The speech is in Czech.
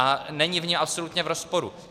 A není v něm absolutně v rozporu.